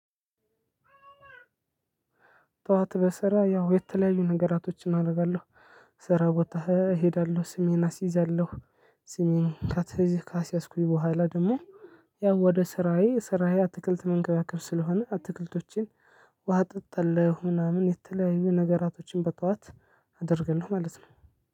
ጠዋት በስራ ያው የተለያዩ ነገራቶችን አደርጋለሁ። ስራ ቦታ እሄዳለሁ ስሜን አስይዛለሁ። ስሜን ካሲያዝኩኝ በኋላ ደግሞ። ያው ወደ ስራዬ ስራዬ አትክልት መንከባከብ ስለሆነ አትክልቶችን ውሃ አጠጣለው ምናምን የተለያዩ ነገራቶችን በጠዋት አደርጋለሁ። ማለት ነው።